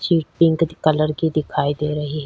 Shit pink colour की दिखाई दे रही है।